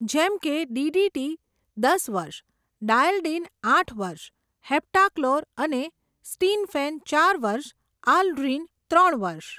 જેમકે ડીડીટી, દસ વર્ષ, ડાઈએલડીન આઠ વર્ષ, હેપ્ટાક્લોર અને સ્ટીનફેન ચાર વર્ષ, આલ્ડ્રીન ત્રણ વર્ષ.